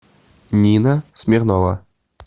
нина смирнова